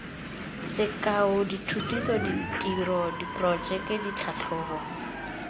sekao dithutiso ditiro diporojeke ditlhatlhobo